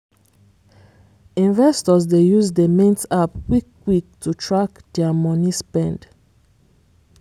investors dey use the mint app quick quick to track their money spend.